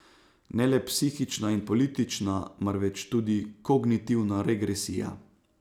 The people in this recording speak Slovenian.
Ne le psihična in politična, marveč tudi kognitivna regresija.